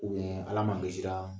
Ala makisira